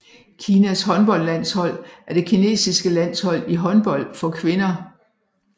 Kinas håndboldlandshold er det kinesiske landshold i håndbold for kvinder